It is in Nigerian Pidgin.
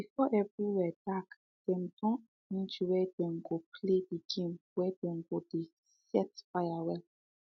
before everywhere dark dem don arrange where dem go play the game wey dem go dey set fire well